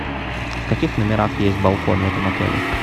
в каких номерах есть балкон в этом отеле